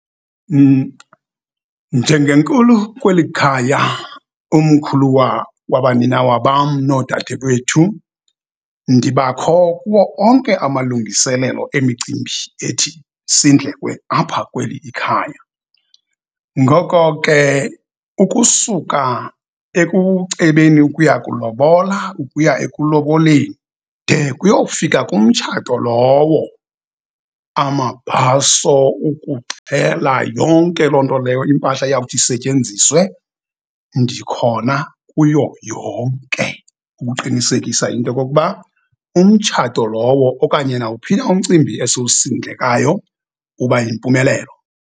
Njengenkulu kweli khaya, umkhuluwa wabaninawa bam noodadewethu ndibakho kuwo onke amalungiselelo emicimbi ethi isindlekwe apha kweli khaya. Ngoko ke, ukusuka ekucebeni ukuya kulobola, ukuya ekuloboleni de kuyofika kumtshato lowo. Amabhaso, ukuxhela, yonke loo nto leyo, impahla eyawuthi isetyenziswe ndikhona kuyo yonke ukuqinisekisa into kokuba umtshato lowo okanye nawuphi na umcimbi esiwusindekayo uba yimpumelelo.